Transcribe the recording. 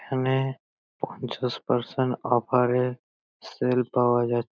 এখানে পঞ্চাশ percent offer এ সেল পাওয়া যাচ --